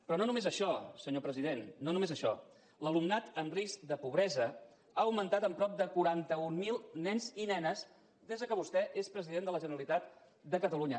però no només això senyor president no només això l’alumnat en risc de pobresa ha augmentat en prop de quaranta mil nens i nenes des que vostè és president de la generalitat de catalunya